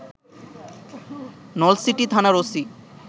নলছিটি থানার ওসি